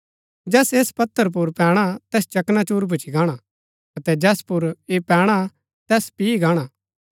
जैस ऐस पत्थर पुर पैणा तैस चकनाचूर भूच्ची गाणा अतै जैस पुर ऐह पैणा तैस पिह गाणा